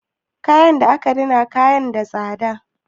Kayan da aka rina yana da tsada.